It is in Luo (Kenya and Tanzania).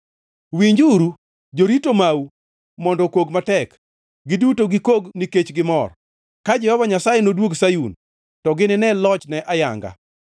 Winjuru! Jorito mau mondo okog matek; giduto gikok nikech gimor. Ka Jehova Nyasaye noduog Sayun, to ginine lochne ayanga.